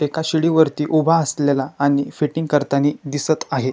एका शिडी वरती उभा असलेला आणि फिटींग करतानी दिसत आहे.